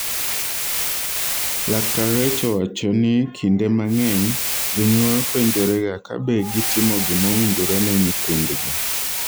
laktar Recho owacho nu kinde mang'eby jonyuol penjorega kabe gitimo gima owinjore ne nyithindgi